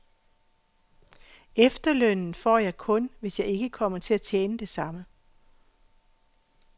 Efterlønnen får jeg kun, hvis jeg ikke kommer til at tjene det samme.